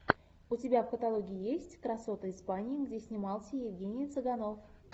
у тебя в каталоге есть красоты испании где снимался евгений цыганов